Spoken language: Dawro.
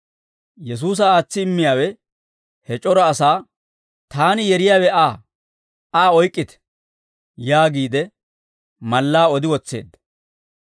Yesuusa aatsi immiyaawe he c'ora asaa, «Taani yeriyaawe Aa; Aa oyk'k'ite» yaagiide mallaa odi wotseedda.